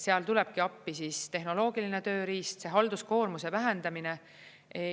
Seal tulebki appi siis tehnoloogiline tööriist, see halduskoormuse vähendamine.